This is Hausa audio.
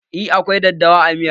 Eh, akwai daddawa a miyar